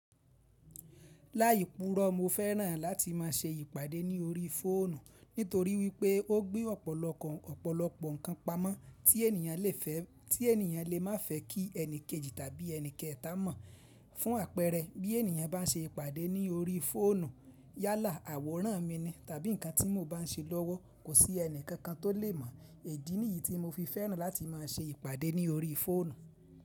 Láì púrọ̀ mo fẹ́ràn láti má a ṣe ìpàdé ní orí fóònù nítorí wípé ó gbé ọ̀pọ̀lọpọ̀ ọ̀pọ̀lọpọ̀ ǹkan pamọ́ tí ènìyàn le má fẹ́ kí ẹni kejì tàbí ẹni kẹta mọ̀. Fún àpẹẹrẹ bí ènìyàn bá n ṣe ìpàdé ní orí fóònù yálà àwòrán mi ni tàbí ǹkan tí mo bá ń ṣe lọ́wọ́ kò sí ẹni kankan tó lè mọ̀. Idi nìyí tí mo fi fẹ́ràn láti má a ṣe ìpàdé ní orí fóònù.